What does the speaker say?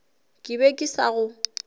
ke be ke sa go